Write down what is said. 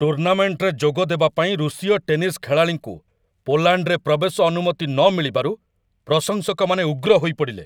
ଟୁର୍ଣ୍ଣାମେଣ୍ଟରେ ଯୋଗଦେବା ପାଇଁ ରୁଷୀୟ ଟେନିସ୍ ଖେଳାଳିଙ୍କୁ ପୋଲାଣ୍ଡରେ ପ୍ରବେଶ ଅନୁମତି ନ ମିଳିବାରୁ ପ୍ରଶଂସକମାନେ ଉଗ୍ର ହୋଇପଡ଼ିଲେ।